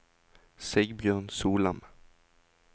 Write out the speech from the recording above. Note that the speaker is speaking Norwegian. Sigbjørn Solem